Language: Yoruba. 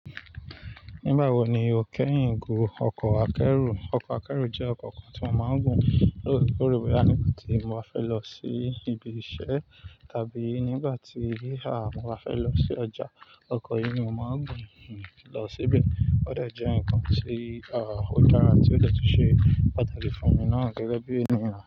Nígbà wo ni o kẹ́ keyin gun ọkọ̀ akẹ́rù? Ọkọ̀ akẹ́rù jẹ́ ọkọ̀ kan tí mo máa ń gùn lóorekore, boya nígbà tí mo fẹ́ lọ sí ibi iṣẹ́ tàbí nígbà tí, à, mo fẹ́ lọ sí ọjà. Ọkọ̀ yìí ni mo máa ń gùn, hmn, lọ síbẹ̀. Ó dà jẹ́ ǹkan tí, à, ó dára, tí ó de tu ṣe pàtàkì fún mi náà gẹ́gẹ́ bí ènìyàn.